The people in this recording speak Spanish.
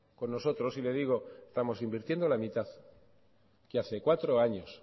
con nosotros y le digo estamos invirtiendo la mitad que hace cuatro años